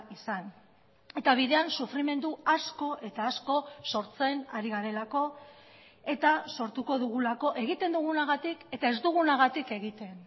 izan eta bidean sufrimendu asko eta asko sortzen ari garelako eta sortuko dugulako egiten dugunagatik eta ez dugunagatik egiten